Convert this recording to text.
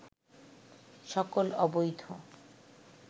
সকল অবৈধ